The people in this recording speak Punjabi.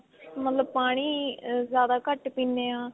ਮਤਲਬ ਪਾਣੀ ਜਿਆਦਾ ਘੱਟ ਪੀਨੇ ਆਂ.